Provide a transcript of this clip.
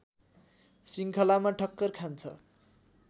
श्रृखङ्लामा ठक्कर खान्छ